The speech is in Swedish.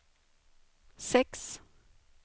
sex